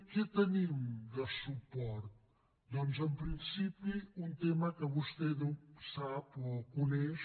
què tenim de suport doncs en principi un tema que vostè sap o coneix